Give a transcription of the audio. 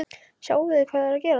Sjáið þið ekki hvað er að gerast!